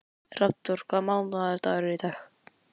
Hrafnþór, hvaða mánaðardagur er í dag?